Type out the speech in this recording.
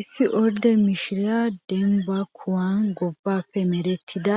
Issi ordde mishiriya dembbasan kuwan gobbaappe merettida